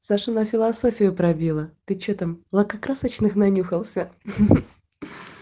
сашу на философию пробило ты что там лакокрасочных нанюхался ха ха